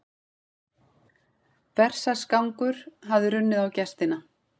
Berserksgangur hafði runnið á gestina.